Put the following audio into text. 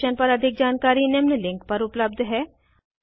इस मिशन पर अधिक जानकारी निम्न लिंक पर उपलब्ध है